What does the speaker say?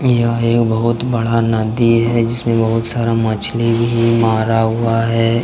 यह एक बहुत बड़ा नदी है जिसमें बहुत सारा मछली भी मारा हुआ है।